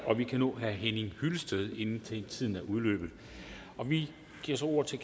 og vi kan nå herre henning hyllested inden tiden er udløbet vi giver så ordet til